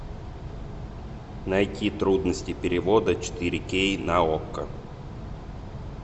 найти трудности перевода четыре кей на окко